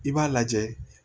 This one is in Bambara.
I b'a lajɛ